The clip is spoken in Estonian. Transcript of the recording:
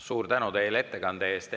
Suur tänu teile ettekande eest!